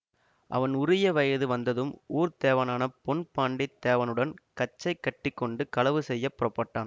அவன் உரிய வயது வந்ததும் ஊர்த்தேவனான பொன் பாண்டித் தேவனுடன் கச்சை கட்டி கொண்டு களவு செய்ய புறப்பட்டான்